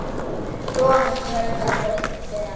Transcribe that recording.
Svona fjölgar fólk sér ekki!